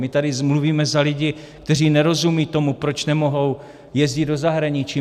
My tady mluvíme za lidi, kteří nerozumějí tomu, proč nemohou jezdit do zahraničí.